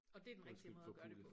Og dét den rigtige måde at gøre det på